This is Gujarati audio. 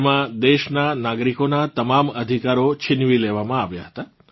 તેમાં દેશનાં નાગરિકોનાં તમામ અધિકારો છીનવી લેવામાં આવ્યાં હતાં